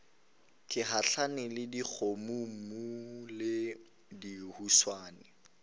gahlana le dikgomommuu le dihuswane